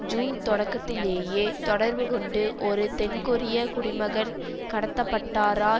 June தொடக்கத்திலேயே தொடர்பு கொண்டு ஒரு தென்கொரிய குடிமகன் கடத்தப்பட்டாரா